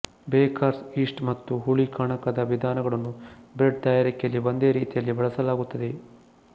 bakers yeast ಮತ್ತು ಹುಳಿ ಕಣಕದ ವಿಧಾನಗಳನ್ನು ಬ್ರೆಡ್ ತಯಾರಿಕೆಯಲ್ಲಿ ಒಂದೇ ರೀತಿಯಲ್ಲಿ ಬಳಸಲಾಗುತ್ತದೆ